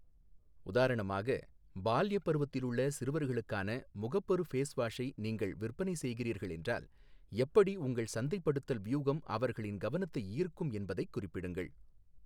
உதாரணமாக, பால்யப் பருவத்திலுள்ள சிறுவர்களுக்கான முகப்பரு ஃபேஸ்வாஷை நீங்கள் விற்பனை செய்கிறீர்கள் என்றால், எப்படி உங்கள் சந்தைப்படுத்தல் வியூகம் அவர்களின் கவனத்தை ஈர்க்கும் என்பதைக் குறிப்பிடுங்கள்.